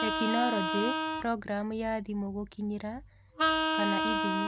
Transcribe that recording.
Tekinoronjĩ: Programu ya thimũ Gũkinyĩra / ithimi.